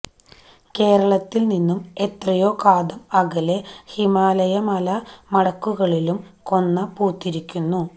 കേരളത്തില് നിന്നും എത്രയോ കാതം അകലെ ഹിമാലയ മല മടക്കുകളിലും കൊന്ന പൂത്തിരിക്കുന്നു